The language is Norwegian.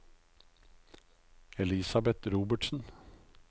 Elisabeth Robertsen